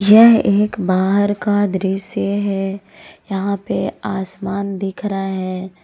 यह एक बाहर का दृश्य है यहां पे आसमान दिख रहा है।